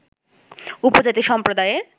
উপজাতি সম্প্রদায়ের